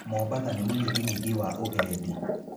Mombasa nĩ mũnyiginyigi wa ũgendi.